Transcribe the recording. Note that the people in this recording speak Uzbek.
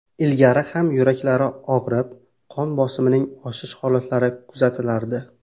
Ilgari ham yuraklari og‘rib, qon bosimining oshish holatlari kuzatilardi.